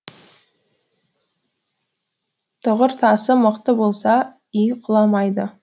тұғыртасы мықты болса үй құламайды